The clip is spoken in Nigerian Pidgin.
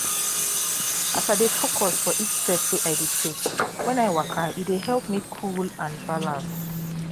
as i dey focus for each step wey i dey take when i waka e dey help me cool and balance